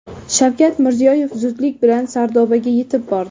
Shavkat Mirziyoyev zudlik bilan Sardobaga yetib bordi.